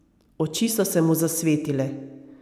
Oči so se mu zasvetile.